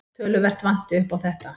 Töluvert vanti upp á þetta.